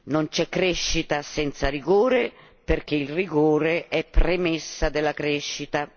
Non c'è crescita senza rigore perché il rigore è premessa della crescita.